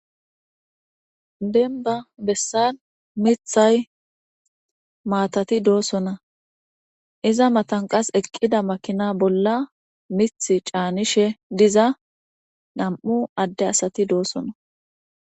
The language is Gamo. Demiba besani miththay matatidosona iza matan qas eqida makina bola miththa canishshe diza namu adde asati dosona